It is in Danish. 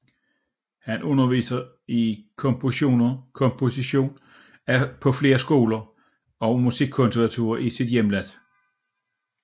Han underviste i komposition på flere skoler og Musikkonservatorier i sit hjemland